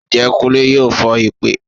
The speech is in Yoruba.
Njẹ kùnlé yọọ fón ipè?